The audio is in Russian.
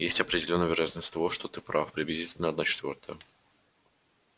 есть определённая вероятность того что ты прав приблизительно одна четвёртая